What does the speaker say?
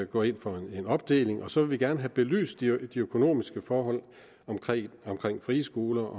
gå ind for en opdeling og så vil vi gerne have belyst de økonomiske forhold omkring omkring frie skoler